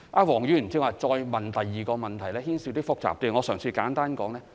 黃議員剛才提出的第二個問題牽涉一些複雜情況，我嘗試作簡單解說。